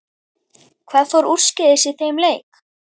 Hvað fór úrskeiðis í þeim leik?